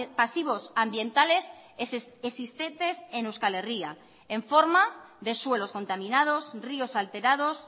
pasivos ambientales existentes en euskal herria en forma de suelos contaminados ríos alterados